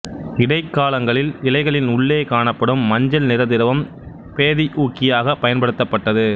இடைக்காலங்களில் இலைகளின் உள்ளே காணப்படும் மஞ்சள் நிற திரவம் பேதி ஊக்கியாகப் பயன்படுத்தப்பட்டது